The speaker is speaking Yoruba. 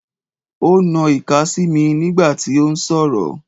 Ó ń na ìka sí mi nígbà tí ó ń sọ̀rọ̀.